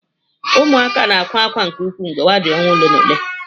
Ụmụaka na akwa ákwá nke ukwuu mgbe ha dị ọnwa ole na ole.